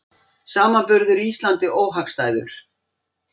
Samanburður Íslandi óhagstæður